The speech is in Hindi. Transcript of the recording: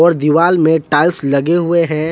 दीवाल में टाइल्स लगे हुए हैं।